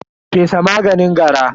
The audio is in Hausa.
fesa maganin gara.